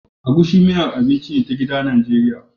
Egusi miyar abinci ce ta gida Najeriya